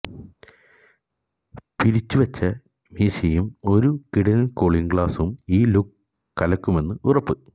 പിരിച്ചുവെച്ച മീശയും ഒരു കിടിലന് കൂളിംഗ് ഗ്ലാസും ഈ ലുക്ക് കലക്കുമെന്ന് ഉറപ്പ്